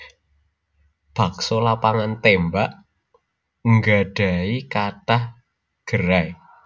Bakso Lapangan Tembak nggadhahi kathah gerai